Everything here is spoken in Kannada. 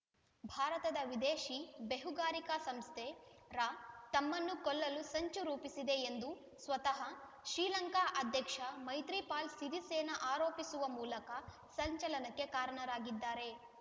ಭಾರತದ ವಿದೇಶಿ ಬೇಹುಗಾರಿಕಾ ಸಂಸ್ಥೆ ರಾ ತಮ್ಮನ್ನು ಕೊಲ್ಲಲು ಸಂಚು ರೂಪಿಸಿದೆ ಎಂದು ಸ್ವತಃ ಶ್ರೀಲಂಕಾ ಅಧ್ಯಕ್ಷ ಮೈತ್ರಿಪಾಲ ಸಿರಿಸೇನ ಆರೋಪಿಸುವ ಮೂಲಕ ಸಂಚಲನಕ್ಕೆ ಕಾರಣರಾಗಿದ್ದಾರೆ